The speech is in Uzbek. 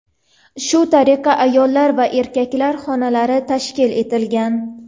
Shu tariqa ayollar va erkaklar xonalari tashkil etilgan.